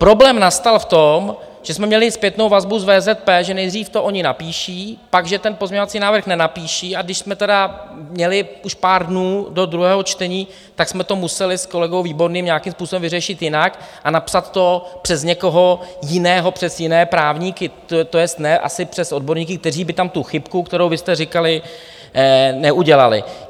Problém nastal v tom, že jsme měli zpětnou vazbu z VZP, že nejdřív to oni napíší, pak že ten pozměňovací návrh nenapíší, a když jsme tedy měli už pár dnů do druhého čtení, tak jsme to museli s kolegou Výborným nějakým způsobem vyřešit jinak a napsat to přes někoho jiného, přes jiné právníky, to jest ne asi přes odborníky, kteří by tam tu chybku, kterou vy jste říkali, neudělali.